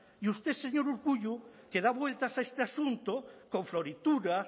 y usted señor urkullu que da vueltas a este asunto con floritura